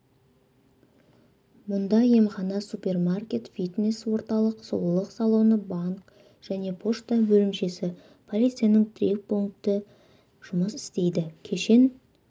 мұнда емхана супермаркет фитнес-орталық сұлулық салоны банк және пошта бөлімшесі полицияның тірек пункті жұмыс істейді кешен